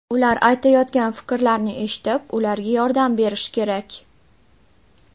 Ular aytayotgan fikrlarni eshitib, ularga yordam berish kerak.